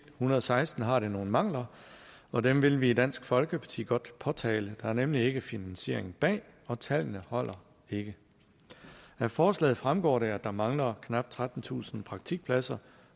hundrede og seksten har det nogle mangler og dem vil vi i dansk folkeparti godt påtale der er nemlig ikke finansiering bag og tallene holder ikke af forslaget fremgår det at der mangler knap trettentusind praktikpladser